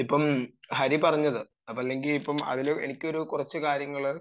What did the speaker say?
ഇപ്പം ഹരി പറഞ്ഞത് അത് അല്ലെങ്കിൽ എനിക്ക് കുറച്ചു കാര്യങ്ങൾ